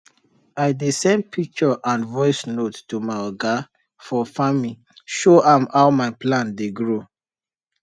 i dey send picture and voice note to my oga for farming show am how my plant dey grow